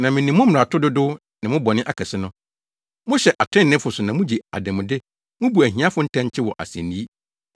Na minim mo mmarato dodow ne mo bɔne akɛse no. Mohyɛ atreneefo so na mugye adanmude mubu ahiafo ntɛnkyew wɔ asennii.